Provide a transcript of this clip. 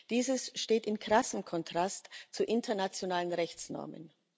Dieses steht in krassem Kontrast zu internationalen Rechtsnormen.